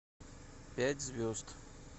пять звезд